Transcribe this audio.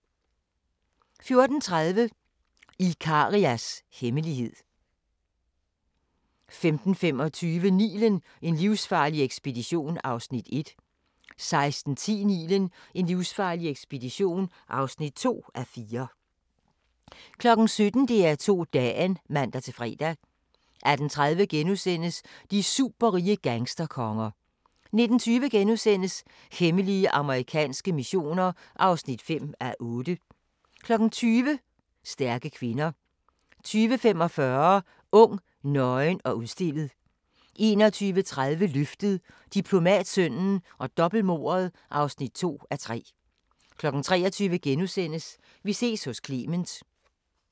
14:30: Ikarias hemmelighed 15:25: Nilen: En livsfarlig ekspedition (1:4) 16:10: Nilen: en livsfarlig ekspedition (2:4) 17:00: DR2 Dagen (man-fre) 18:30: De superrige gangsterkonger * 19:20: Hemmelige amerikanske missioner (5:8)* 20:00: Stærke kvinder 20:45: Ung, nøgen og udstillet 21:30: Løftet - Diplomatsønnen og dobbeltmordet (2:3) 23:00: Vi ses hos Clement *